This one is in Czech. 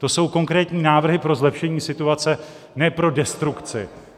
To jsou konkrétní návrhy pro zlepšení situace, ne pro destrukci.